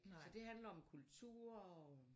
Så det handler om kulturer og